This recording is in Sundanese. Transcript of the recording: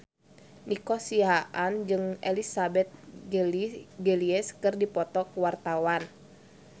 Nico Siahaan jeung Elizabeth Gillies keur dipoto ku wartawan